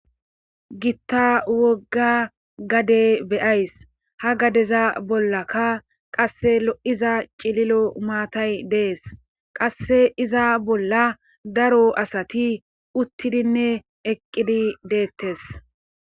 Gitta wogga gade beyays ha gadeza bollakka qasse lo'iza cililo maatay dees qasse iza bolla daro asati uttidinne eqqidi deettes